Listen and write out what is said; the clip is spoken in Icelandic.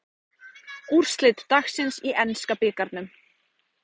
Úrslit dagsins í enska bikarnum